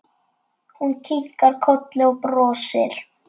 Hún kinkar kolli og brosir.